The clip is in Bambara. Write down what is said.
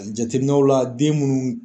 Jateminɛw la den munnu